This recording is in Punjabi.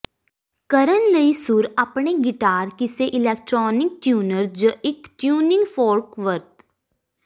ਕਰਨ ਲਈ ਸੁਰ ਆਪਣੇ ਗਿਟਾਰ ਕਿਸੇ ਇਲੈਕਟ੍ਰਾਨਿਕ ਟਿਊਨਰ ਜ ਇੱਕ ਟਿਊਨਿੰਗ ਫੋਰਕ ਵਰਤ